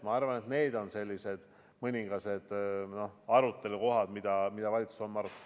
Ma arvan, et need on mõningased arutelukohad, mida valitsus homme arutab.